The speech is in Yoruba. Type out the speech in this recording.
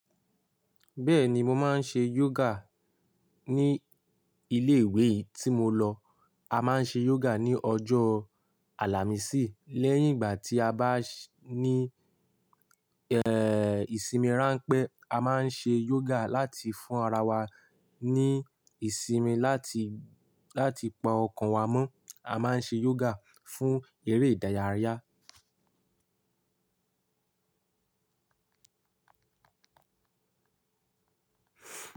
Bẹ́ẹ̀ni, mo máa ń ṣe yoga ní ilé ìwé tí mo lọ. A máa ń ṣe yoga ní ọjọ́ Àlàmísì lẹ́yìn ìgbà tí a bá ní, ẹ́, ìsinmi ránpẹ́. A máa ń ṣe yoga láti fún ara wa ní ìsimi, láti, láti pa ọkàn wa mọ́. A máa ń ṣe yoga fún eré ìdárayá.